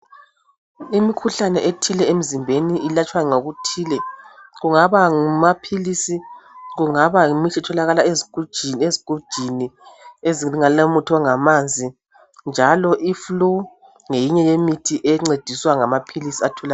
Imikhuhlane ethile emzimbeni ilatshwa ngokuthile kungaba ngumaphilisi kungaba yimithi etholakala ezigujini ezigujini ezilomuthi ongamanzi njalo iflu ngeyinye yemithi encediswa ngamaphilisi atholakala .